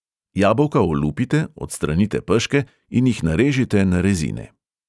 Jabolka olupite, odstranite peške in jih narežite na rezine.